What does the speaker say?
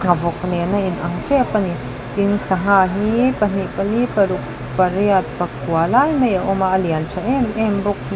nghavawk nen a inang tep ani tin sangha hi pahnih pali paruk pariat pakua lai mai a awm a a lian tha em em bawk--